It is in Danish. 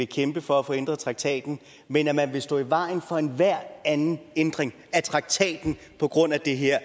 kæmpe for at få ændret traktaten men at man vil stå i vejen for enhver anden ændring af traktaten på grund af det her